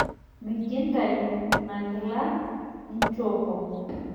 Mikintayu ina kila ninchopo.